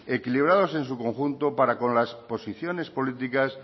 equilibrados en su conjunto para con las posiciones políticas